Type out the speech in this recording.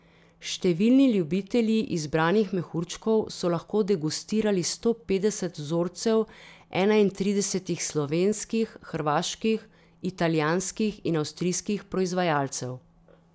Številni ljubitelji izbranih mehurčkov so lahko degustirali sto petdeset vzorcev enaintridesetih slovenskih, hrvaških, italijanskih in avstrijskih proizvajalcev.